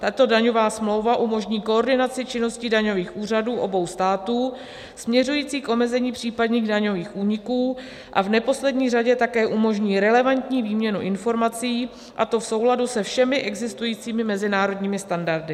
Tato daňová smlouva umožní koordinaci činností daňových úřadů obou států, směřující k omezení případných daňových úniků, a v neposlední řadě také umožní relevantní výměnu informací, a to v souladu se všemi existujícími mezinárodními standardy.